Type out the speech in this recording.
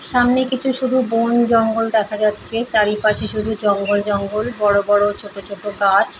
সামনে কিছু শুধু বন জঙ্গল দেখা যাচ্ছে। চারিপাশে শুধু জঙ্গল জঙ্গল বড় বড় ছোট ছোট গাছ।